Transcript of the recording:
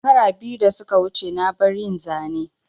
Shekara biyu da suka wuce na bar yin Zane